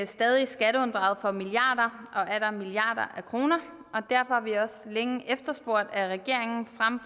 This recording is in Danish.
stadig skatteunddraget for milliarder og atter milliarder af kroner og derfor har vi også længe efterspurgt at regeringen frem